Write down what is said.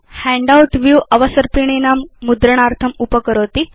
handout view अवसर्पिणीनां मुद्रणार्थम् अनुमतिं करोति